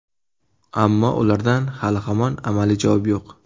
Ammo ulardan hali-hamon amaliy javob yo‘q.